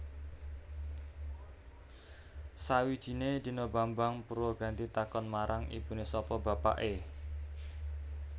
Sawijiné dina Bambang Purwaganti takon marang ibuné sapa bapaké